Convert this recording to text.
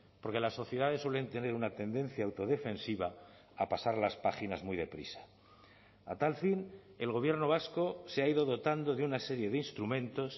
porque las sociedades suelen tener una tendencia autodefensiva a pasar las páginas muy deprisa a tal fin el gobierno vasco se ha ido dotando de una serie de instrumentos